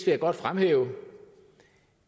jeg godt fremhæve